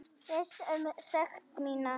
Viss um sekt mína.